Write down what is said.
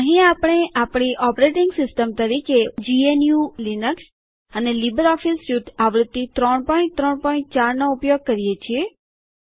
અહીં આપણે આપણી ઓપરેટિંગ સિસ્ટમ તરીકે જીએનયુ લીનક્સ અને લીબરઓફીસ સ્યુટ આવૃત્તિ ૩૩૪ નો ઉપયોગ કરીએ છીએ